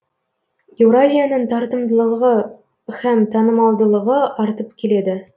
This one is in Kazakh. еуразияның тартымдылығы һәм танымалдылығы артып келеді